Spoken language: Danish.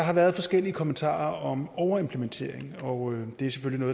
har været forskellige kommentarer om overimplementering og det er selvfølgelig